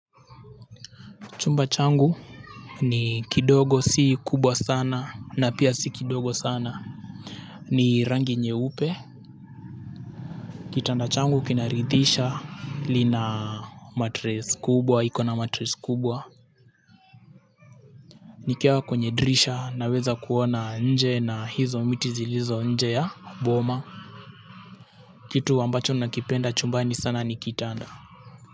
Chumba changu ni kidogo si kubwa sana na pia si kidogo sana ni rangi nyeupe. Kitanda changu kinaridhisha lina matres kubwa, iko na matres kubwa. Nikiwa kwenye dirisha naweza kuona nje na hizo miti zilizo nje ya boma. Kitu ambacho nakipenda chumbani sana ni kitanda.